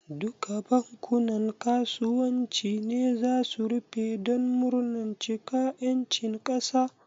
Duka bankunan kasuwanci ne zasu rufe don murnan cika ƴancin kasa?